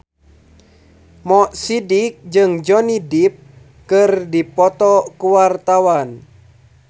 Mo Sidik jeung Johnny Depp keur dipoto ku wartawan